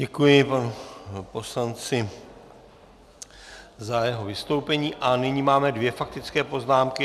Děkuji panu poslanci za jeho vystoupení a nyní máme dvě faktické poznámky.